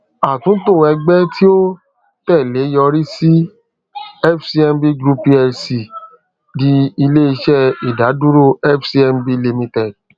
atunto ẹgbẹ ti o tẹle yorisi fcmb group plc di ileiṣẹ idaduro fcmb limited